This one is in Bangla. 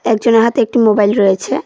একজনের হাতে একটি মোবাইল রয়েছে।